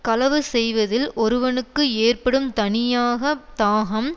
களவு செய்வதில் ஒருவனுக்கு ஏற்படும் தணியாக தாகம்